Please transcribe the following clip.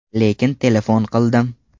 Lekin telefon qildim.